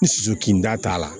N susu kin da t'a la